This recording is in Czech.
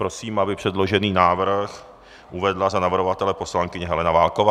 Prosím, aby předložený návrh uvedla za navrhovatele poslankyně Helena Válková.